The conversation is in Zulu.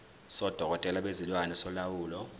sodokotela bezilwane solawulo